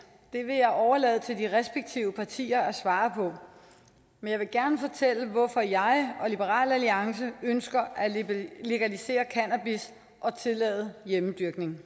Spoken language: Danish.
vil jeg overlade til de respektive partier at svare på men jeg vil gerne fortælle hvorfor jeg og liberal alliance ønsker at legalisere cannabis og tillade hjemmedyrkning